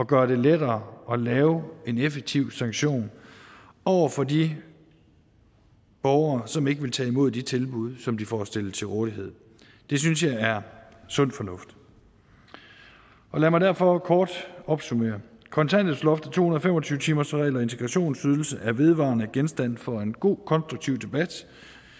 gøre det lettere at lave en effektiv sanktion over for de borgere som ikke vil tage imod de tilbud som de får stillet til rådighed det synes jeg er sund fornuft og lad mig derfor kort opsummere kontanthjælpsloftet to hundrede og fem og tyve timersreglen og integrationsydelse er vedvarende genstand for en god konstruktiv debat